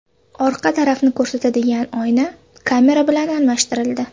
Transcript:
Orqa tarafni ko‘rsatadigan oyna kamera bilan almashtirildi.